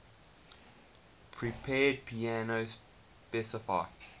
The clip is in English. prepared piano specify